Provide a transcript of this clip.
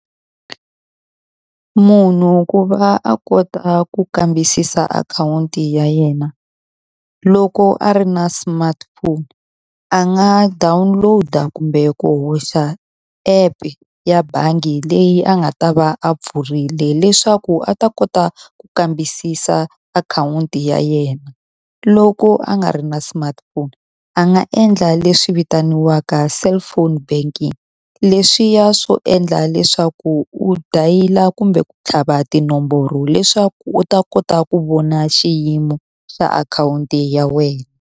Munhu ku va a kota ku kambisisa akhawunti ya yena loko a ri na smartphone, a nga download-a kumbe ku hoxa app-u ya bangi leyi a nga ta va a pfurile leswaku a ta kota ku kambisisa akhawunti ya yena. Loko a nga ri na smartphone a nga endla leswi vitaniwaka cellphone banking. Leswiya swo endla leswaku u dayila kumbe ku tlhava tinomboro leswaku u ta kota ku vona xiyimo xa akhawunti ya wena.